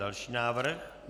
Další návrh.